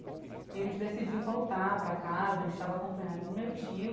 E a gente decidiu voltar para casa, a gente estava acompanhado do meu tio,